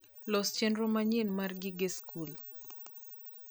los chenro manyien mara gige school